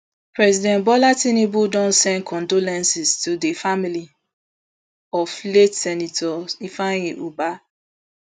president bola tinubu don send condolences to di family of late senator ifeanyi ubah